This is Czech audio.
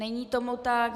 Není tomu tak.